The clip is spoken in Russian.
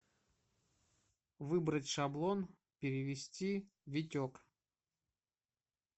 выбрать шаблон перевести витек